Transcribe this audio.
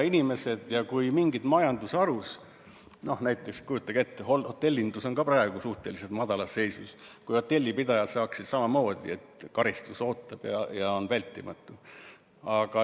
Hotellindus on praegu suhteliselt madalas seisus, aga kujutage ette, kui hotellipidajad saaksid samamoodi sõnumeid, et karistus ootab ja on vältimatu.